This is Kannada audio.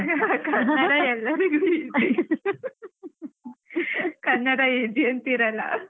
ಕನ್ನಡ ಎಲ್ಲರಿಗು easy ಕನ್ನಡ easy ಅಂತೀರಲ್ಲ.